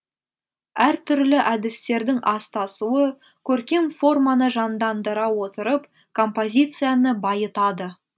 әртүрлі әдістердің астасуы көркем форманы жандандыра отырып композицияны байытады